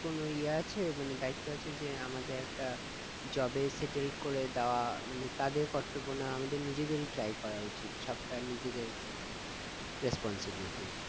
কোনো ইয়ে আছে মানে দায়িত্ব আছে যে আমাদের একটা job এ settled করে দেওয়া মানে তাদের কর্তব্য না আমাদের নিজেদেরি try করা উচিত সবটা নিজেদের responsibilities